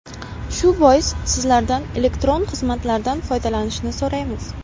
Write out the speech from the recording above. Shu bois sizlardan elektron xizmatlardan foydalanishni so‘raymiz.